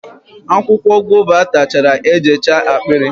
akwụkwọ guava atachara ejechaa akpịrị